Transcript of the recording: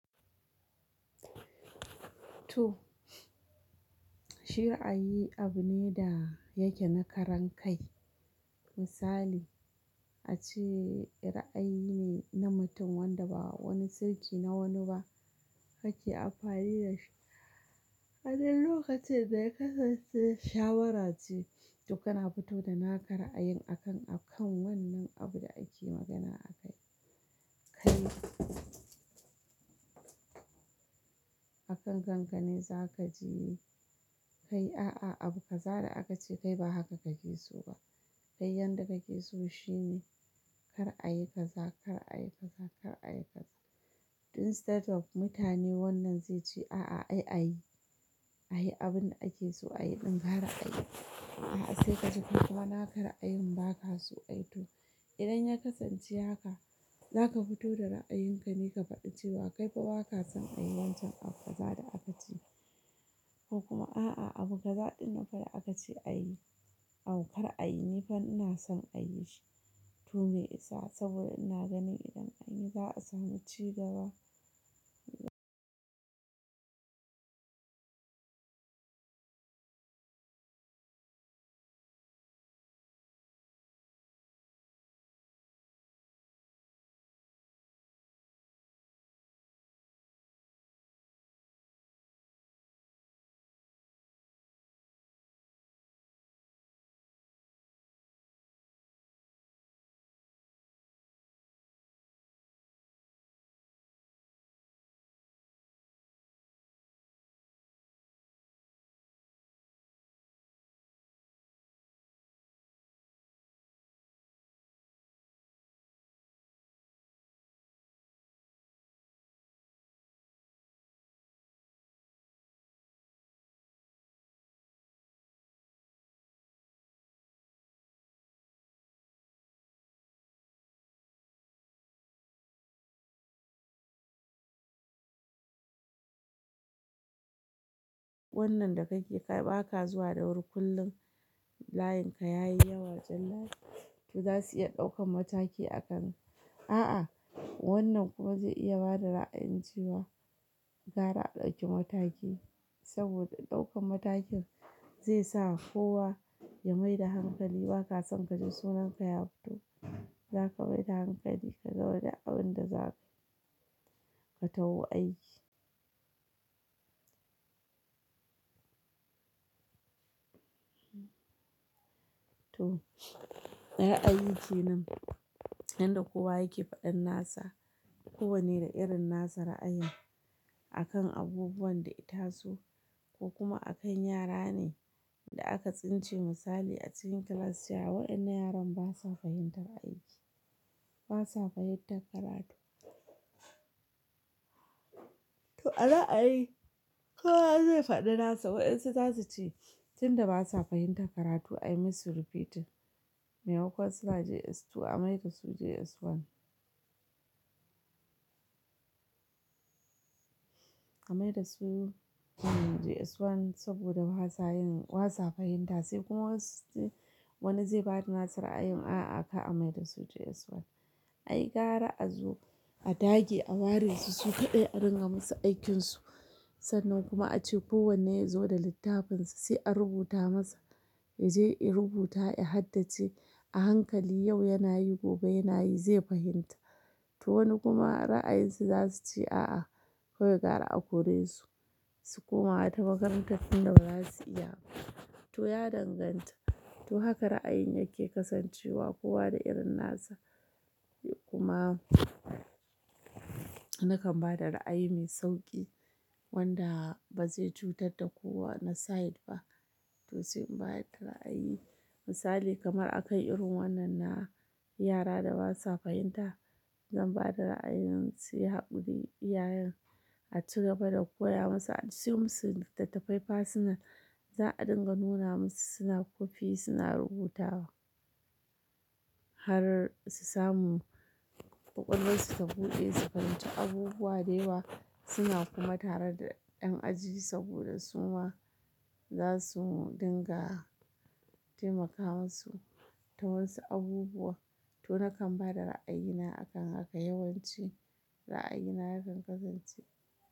To, shira'ayi abu ne da yake na karan kai. Misali, ace raayi ne na mutum wanda ba wani sirki na wani ba kake amfani dashi a duk lokacin da ya kasance shawara ce, to kana fito da naka ra a yin akan, akan wannan abun da ake magana akai. Kai, akan kankane za ka ji, kai a'a, abu kaza da aka ce kai ba haka kake so ba. Kai yanda kake so shine kar a yi kaza, kar a yi kaza, kar a yi kaza. Instead of mutane wannan zai ce a'a, ai ayi, ayi abun da ake so ayi ɗin gara a yi. A'a sai ka ji kai kuma na ka ra yin ba ka so ayi to, idan ya kasance haka, za ka fito da ra'ayinka ne ka faɗi cewa kaifa ba ka son ayi wancan abu kaza da aka ce. Ko kuma a'a, abu kaza ɗin na fa da aka ce a yi, au kar a yi ni fa ina son a yi shi. To me isa saboda ina ganin idan anyi zaasamu cigaba. Wannan da kake, kai ba ka zuwa da wuri kullum layinka yayi yawa jallale, to za su iya ɗaukan mataki akan. A'a, wannan kuma zai iya bada ra'ayin cewa gara a ɗauki mataki saboda ɗaukan matakin zai sa kowa ya mai da hankali ba ka son kaji sunanka ya fito. Za ka mai da hankali ka gama duk abun da za kai, ka taho aiki. To, ra'ayi kenan, yanda kowa yake faɗan nasa, kowan ne da irin nasa ra'ayin akan abubuwan da itaso ko kuma akan yara ne da aka tsince misali a cikin class cewa wayennan yaran basa fahimtar aiki, basa fahimtar karatu. To a ra a yi, kowa zai faɗi nasa wayen su za su ce, tun da basa fahimtar karatu ai musu repeating. Me makon suna JS2 a mai da su JS1. A mai da su JS1 saboda basa yin, basa fahimta sai kuma wasu suce wani zai bada nasa ra'ayin a'a kar a mai da su JS1. Ai gara a zo, a dage a ware su su kaɗai a dinga musu aikinsu. Sannan kuma ace kowane yazo da littafinsa sai a rubuta masa, yaje ya rubuta ya haddace a hankali yau yana yi gobe yana yi zai fahimta. To wani kuma raayinsu zasu ce aa kawai gwara a koresu su koma wata makarantar tunda bazasu iya ba to ya danganta, to haka ra'ayin yake kasancewa kowa da irin nasa. Kuma, nakan bada ra'ayi mai sauƙi wanda ba zai cutar da kowa na side ba. To sai in bayar da ra'ayi, misali kamar akan irin wannan na yara da basa fahimta, zan bada ra'ayin su yi haƙuri iyayen a cigaba da koya musu, a siyo musu littattafai personal, za a dinga nuna musu suna kwafi suna rubutawa. Har su samu ƙwaƙwalwarsu ta buɗe su fahimci abubuwa dayawa suna kuma tare da ƴan aji saboda suma za su dinga taimaka musu ta wasu abubuwa. To nakan bada ra'ayina akan haka yawanci, ra'ayina yakan kasance.